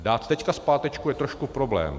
Dát teď zpátečku je trošku problém.